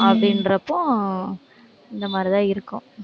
அப்படின்றப்போ இந்தமாதிரி தான் இருக்கும்